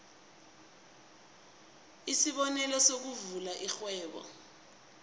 isibonelo sokuvula irhwebo